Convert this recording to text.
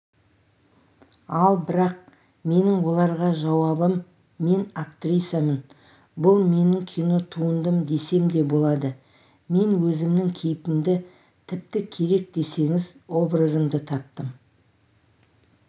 ал бірақ менің оларға жауабым мен актрисамын бұл менің кинотуындым десем де болады мен өзімнің кейпімді тіпті керек десеңіз образымды таптым